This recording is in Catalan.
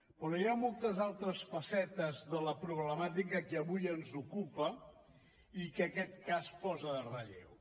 però hi ha moltes altres facetes de la problemàtica que avui ens ocupa i que aquest cas posa en relleu